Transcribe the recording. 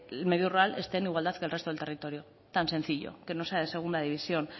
el medio rural esté en igualdad que el resto del territorio tan sencillo que no sea de segunda división